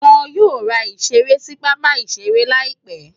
Wọ́n yóò ra ìṣeré sí pápá-ìṣeré láìpé.